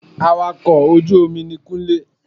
Awakọ̀ ojú omi ni Kúnlé